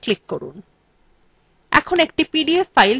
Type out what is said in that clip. একটি PDF file তৈরি হয়ে গেছে